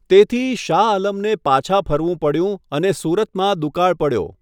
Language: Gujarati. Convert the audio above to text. તેથી, શાહઆલમને પાછા ફરવું પડ્યું અને સુરતમાં દુકાળ પડ્યો.